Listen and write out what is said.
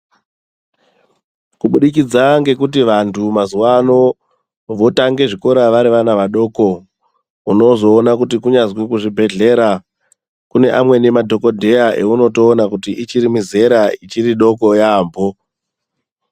Kubudikidza ngekuti vantu mazuwa ano votange zvikora vari vana vadokounozoona kuti kunyazwi kuzvibhedhlera. Kune amweni madhokodheya eunotoona kuti ichiri mizera ichiridoko yaampho.